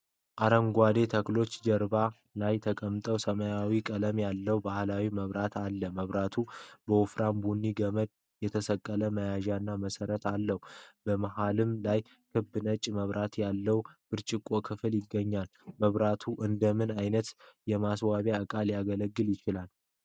አረንጓዴ ተክሎች ጀርባ ላይ የተቀመጠ ሰማያዊ ቀለም ያለው ባህላዊ መብራት አለ። መብራቱ በወፍራም ቡኒ ገመድ የተጠቀለለ መያዣና መሰረት አለው። በመሃሉ ላይ ክብ ነጭ መብራት ያለው ብርጭቆ ክፍል ይገኛል። መብራቱ እንደምን ዓይነት የማስዋቢያ ዕቃ ሊያገለግል ይችላል?